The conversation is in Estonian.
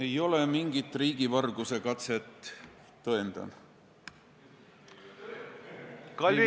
Ei ole mingit riigivarguse katset, tõendan.